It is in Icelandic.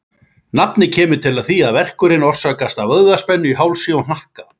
Nafnið kemur til af því að verkurinn orsakast af vöðvaspennu í hálsi og hnakka.